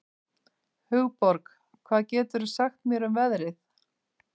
Hugborg, hvað geturðu sagt mér um veðrið?